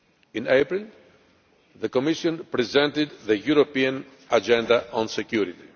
In April the Commission presented the European Agenda on Security.